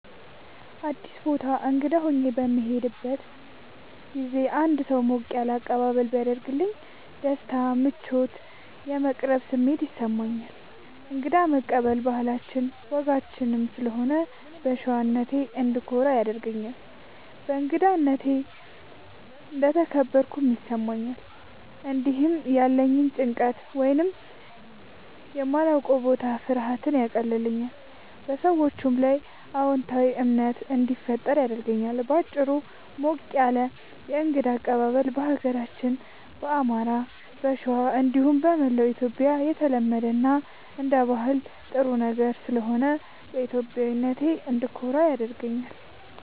አዲስ ቦታ እንግዳ ሆኜ በምሄድበት ጊዜ አንድ ሰው ሞቅ ያለ አቀባበል ቢያደርግልኝ ደስታ፣ ምቾት እና የመቀራረብ ስሜት ይሰማኛል። እንግዳ መቀበል ባህላችንም ወጋችንም ስለሆነ በሸዋነቴ እንድኮራ ያደርገኛል። በእንግዳነቴ እንደተከበርኩም ይሰማኛል። እንዲሁም ያለኝን ጭንቀት ወይም የማላዉቀዉ የቦታ ፍርሃት ያቀልልኛል፣ በሰዎቹም ላይ አዎንታዊ እምነት እንዲፈጠር ያደርጋል። በአጭሩ፣ ሞቅ ያለ የእንግዳ አቀባበል በሀገራችን በአማራ(ሸዋ) እንዲሁም በመላዉ ኢትዮጽያ የተለመደ እና አንደ ባህል ጥሩ ነገር ስለሆነ በኢትዮጵያዊነቴ እንድኮራ ያደርገኛል።